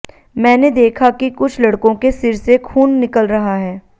मैंने देखा कि कुछ लड़कों के सिर से खून निकल रहा है